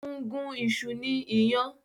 Ó ń gún iṣu ní iyàn